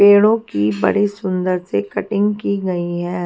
पेड़ों की बड़ी सुंदर सी कटिंग की गई है।